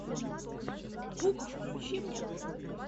гук включи мне